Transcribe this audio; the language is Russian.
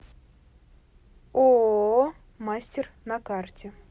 ооо мастер на карте